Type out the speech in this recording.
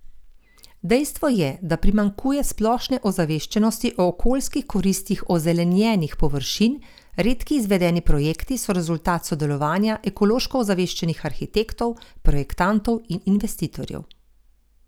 Dejstvo je, da primanjkuje splošne ozaveščenosti o okoljskih koristih ozelenjenih površin, redki izvedeni projekti so rezultat sodelovanja ekološko ozaveščenih arhitektov, projektantov in investitorjev.